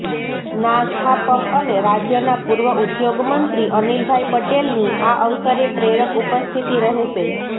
ના સ્થાપક અને રાજ્યના પૂર્વ ઉદ્યોગમંત્રી અનિલભાઈ પટેલની આ અવસરે પ્રેરક ઉપસ્થિતિ રહેશે